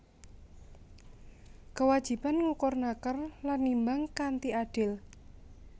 Kewajiban ngukur naker lan nimbang kanthi adil